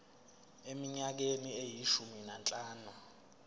eminyakeni eyishumi nanhlanu